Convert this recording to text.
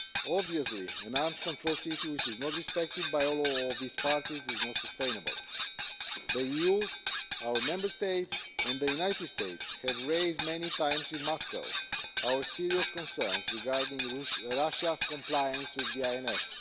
Obviously an arms control treaty which is not respected by all of its parties is not sustainable. The EU, our Member States and the United States have raised many times in Moscow our serious concerns regarding Russia's compliance with the INF.